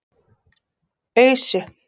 Ausu